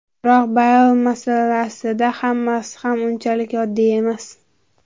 Biroq Beyl masalasida hammasi ham unchalik oddiy emas.